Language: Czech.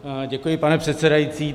Děkuji, pane předsedající.